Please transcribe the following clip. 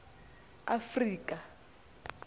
afrika